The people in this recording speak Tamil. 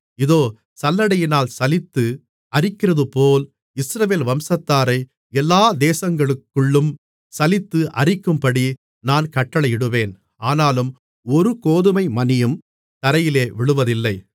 இதோ சல்லடையினால் சலித்து அரிக்கிறதுபோல் இஸ்ரவேல் வம்சத்தாரை எல்லா தேசங்களுக்குள்ளும் சலித்து அரிக்கும்படி நான் கட்டளையிடுவேன் ஆனாலும் ஒரு கோதுமை மணியும் தரையிலே விழுவதில்லை